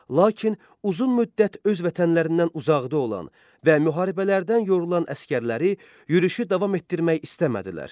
Lakin uzun müddət öz vətənlərindən uzaqda olan və müharibələrdən yorulan əsgərləri yürüşü davam etdirmək istəmədilər.